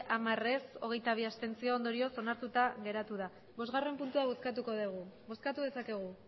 hamar abstentzioak hogeita bi ondorioz onartuta geratu da bostgarrena puntua bozkatuko dugu bozkatu dezakegu